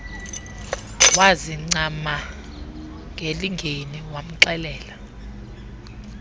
wazincama ngelingeni wamxelela